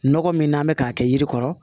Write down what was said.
Nɔgɔ min n'an bɛ k'a kɛ yiri kɔrɔ